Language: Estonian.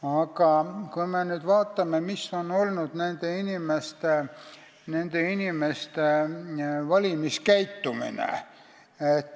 Aga vaatame nüüd, milline on olnud nende inimeste valimiskäitumine.